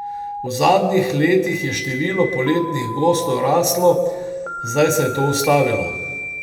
V zadnjih letih je število poletnih gostov raslo, zdaj se je to ustavilo.